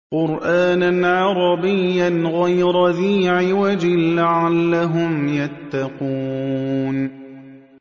قُرْآنًا عَرَبِيًّا غَيْرَ ذِي عِوَجٍ لَّعَلَّهُمْ يَتَّقُونَ